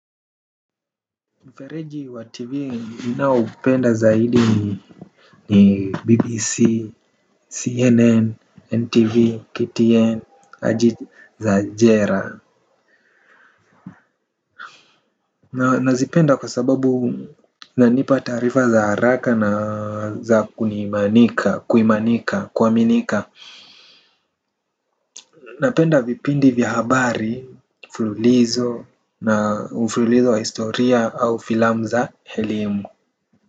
Mfereji wa TV ninaoupenda zaidi ni BBC, CNN, NTV, KTN, Ajit Zajera. Na nazipenda kwa sababu nanipa taarifa za haraka na za kunimanika, kuimanika, kuaminika. Napenda vipindi vya habari mfululizo na mfululizo wa historia au filamu za elimu.